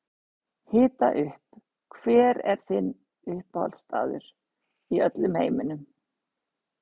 Hita upp Hver er uppáhaldsstaðurinn þinn í öllum heiminum?